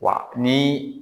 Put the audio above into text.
Wa ni